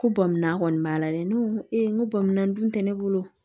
Ko bɔnminan kɔni b'a la dɛ ne ko n ko bɔ minan dun tɛ ne bolo